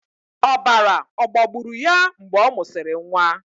Ọbara ọ̀ gbagburu ya mgbe ọ mụsịrị nwa?